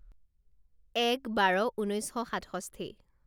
এক বাৰ ঊনৈছ শ সাতষষ্ঠি